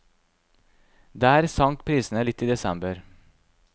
Der sank prisene litt i desember.